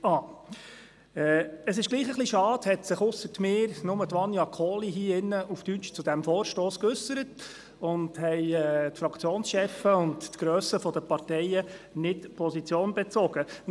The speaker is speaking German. Trotzdem ist es etwas schade, dass sich ausser mir nur Vania Kohli auf Deutsch zu dem Vorstoss geäussert hat und dass die Fraktionschefs sowie die Parteigrössen nicht Position bezogen haben.